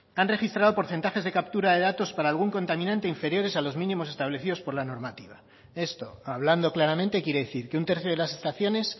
han registrado porcentajes de captura de datos para algún contaminante inferiores a los mínimos establecidos por la normativa esto hablando claramente quiere decir que un tercio de las estaciones